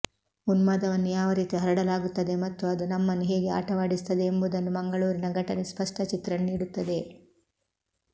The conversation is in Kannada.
ಉನ್ಮಾದವನ್ನು ಯಾವ ರೀತಿ ಹರಡಲಾಗುತ್ತದೆ ಮತ್ತು ಅದು ನಮ್ಮನ್ನು ಹೇಗೆ ಆಟವಾಡಿಸುತ್ತದೆ ಎಂಬುವುದು ಮಂಗಳೂರಿನ ಘಟನೆ ಸ್ಪಷ್ಟ ಚಿತ್ರಣ ನೀಡುತ್ತದೆ